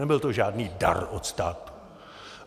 Nebyl to žádný dar od státu.